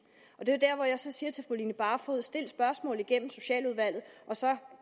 og det er jo jeg så siger til fru line barfod stil spørgsmålet igennem socialudvalget og så